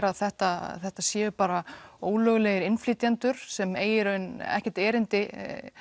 að þetta þetta séu bara ólöglegir innflytjendur sem eigi í raun ekkert erindi